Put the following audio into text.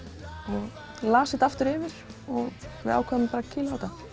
hún las þetta aftur yfir og við ákváðum bara að kýla á þetta